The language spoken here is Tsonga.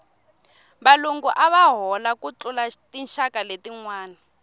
valungu ava hola ku tlula tinxaka letinwana